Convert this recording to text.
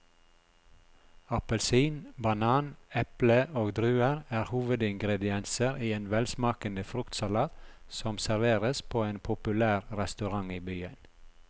Appelsin, banan, eple og druer er hovedingredienser i en velsmakende fruktsalat som serveres på en populær restaurant i byen.